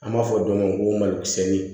An b'a fɔ dɔ ma ko malokisɛni